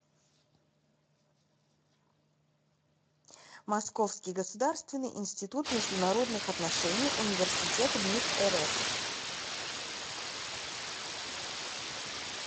московский государственный институт международных отношений университет мид рф